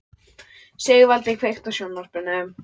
Sigvaldi, kveiktu á sjónvarpinu.